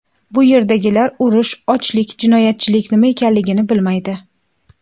Bu yerdagilar urush, ochlik, jinoyatchilik nima ekanligini bilmaydi.